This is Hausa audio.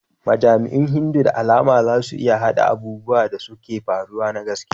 Majami'un Hindu da alama za su iya haɗa abubuwan da suka faru na gaskiya.